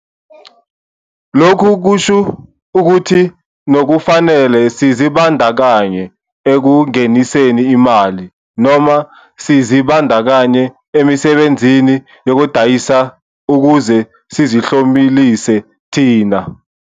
Lokhu kusho ukuthi nokufanele sizibandakanye, ekungeniseni imali, noma sizibandakanye emisebenzini yokudayisa ukuze sizihlomlise thina.